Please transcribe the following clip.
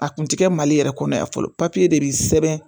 A kun tɛ kɛ mali yɛrɛ kɔnɔ yan fɔlɔ de bɛ sɛbɛn